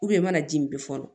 i mana ji min bi fɔlɔ